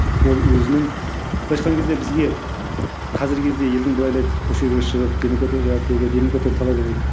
ол өзінің былайша айтқан кезде бізге қазіргі кезде елдің бәрі ойлайды көшеге шығып демократия демократияны талап ету керек